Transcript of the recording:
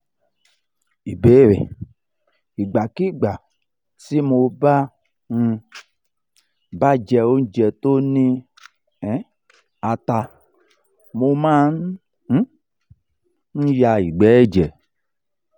ìbéèrè: ìgbàkigbà tí mo um bá jẹ oúnjẹ tó ni um ata mo ma um n ya igbe eje